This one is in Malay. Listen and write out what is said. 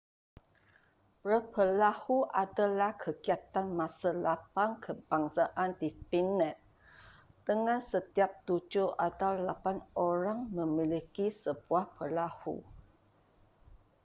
berperahu adalah kegiatan masa lapang kebangsaan di finland dengan setiap tujuh atau lapan orang memiliki sebuah perahu